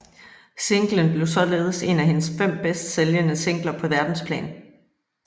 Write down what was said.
Singlen blev således en af hendes fem bedst sælgende singler på verdensplan